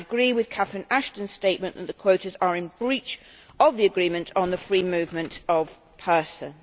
I agree with Catherine Ashton's statement that the quotas are in breach of the agreement on the free movement of persons.